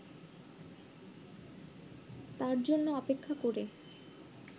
তার জন্য অপেক্ষা করে